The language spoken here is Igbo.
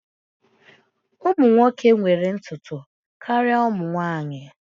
Ụmụ nwoke nwere ntutu karịa ụmụ nwanyị